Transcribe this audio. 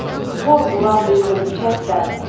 tor quran bir hörümçəksən,